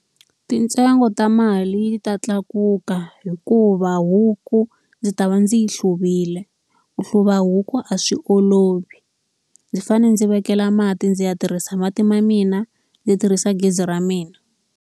Mintsengo ta mali yi ta tlakuka hikuva huku ndzi ta va ndzi yi hluviwile. Ku hluva huku a swi olovi. Ndzi fanele ndzi vekela mati, ndzi ya tirhisa mati ya mina ndzi tirhisa gezi ra mina.